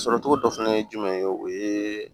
Sɔrɔcogo dɔ fɛnɛ ye jumɛn ye o ye